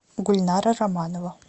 гульнара романова